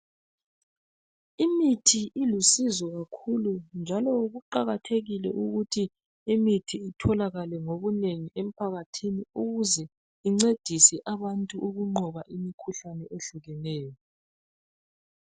Imithi ilusizo kakhulu njalo kuqakathekile ukuthi imithi itholakale ngobunengi emphakathini ukuze incedise abantu ukunqoba imikhuhlane ehlukeneyo.